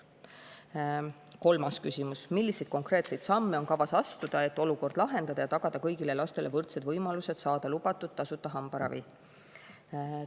Kolmas küsimus: "Milliseid konkreetseid samme on kavas astuda, et antud olukord lahendada ja tagada kõigile lastele võrdsed võimalused saada lubatud tasuta hambaravi?